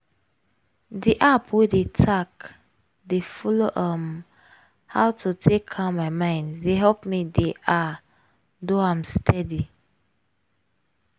di app wey dey tack dey follow um how to take calm my mind dey help me dey ah! do am steady steady.